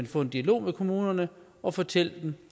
få en dialog med kommunerne og fortælle dem